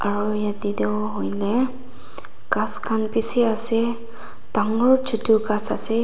aro yate toh hoile ghas khan bishi ase dangor chotu ghas ase.